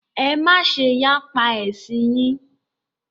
Ẹ má ṣe yapa ẹ̀sìn yín!